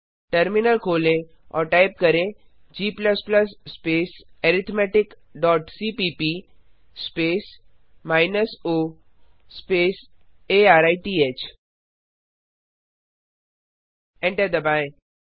terminal खोलें और type करें g space arithmetic dot cpp space minus o arith enter दबाएँ